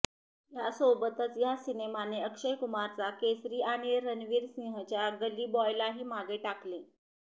यासोबतच या सिनेमाने अक्षय कुमारचा केसरी आणि रणवीर सिंहच्या गली बॉयलाही मागे टाकले